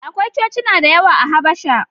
Akwai Cocina da yawa a Habasha.